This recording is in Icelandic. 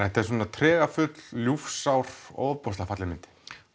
þetta er svona tregafull ljúfsár ofboðslega falleg mynd